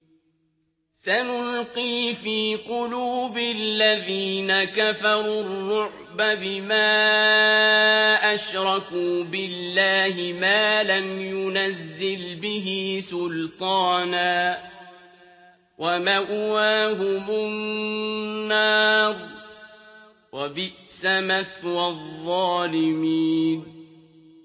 سَنُلْقِي فِي قُلُوبِ الَّذِينَ كَفَرُوا الرُّعْبَ بِمَا أَشْرَكُوا بِاللَّهِ مَا لَمْ يُنَزِّلْ بِهِ سُلْطَانًا ۖ وَمَأْوَاهُمُ النَّارُ ۚ وَبِئْسَ مَثْوَى الظَّالِمِينَ